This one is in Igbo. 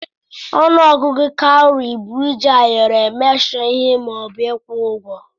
Ọnụ ọgụgụ kaụrị bụ iji ayọrọ emeshọ ihe ma ọ bụ ịkwụ ụgwọ.